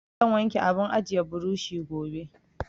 Zan wanke abun ajiye burushi gobe.